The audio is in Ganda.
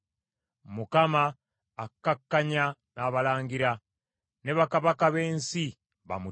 Mukama akkakkanya abalangira, ne bakabaka b’ensi bamutya.